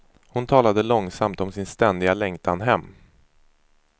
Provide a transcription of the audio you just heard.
Hon talade långsamt om sin ständiga längtan hem.